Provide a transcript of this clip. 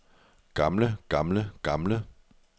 gamle gamle gamle